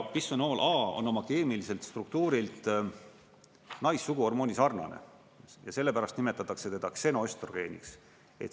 Bisfenool A on oma keemiliselt struktuurilt naissuguhormooni sarnane ja sellepärast nimetatakse teda ksenoöstrogreeniks.